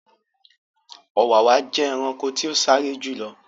Ọ̀wàwà jẹ́ ẹranko tí o sáré jù lọ